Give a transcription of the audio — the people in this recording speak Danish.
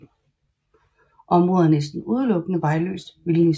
Området er næsten udelukkende vejløst vildnis